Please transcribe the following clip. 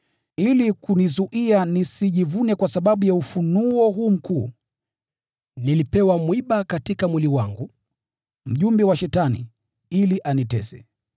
Ili kunizuia nisijivune kwa sababu ya ufunuo huu mkuu, nilipewa mwiba katika mwili wangu, mjumbe wa Shetani, ili anitese.